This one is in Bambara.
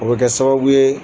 O bɛ kɛ sababu ye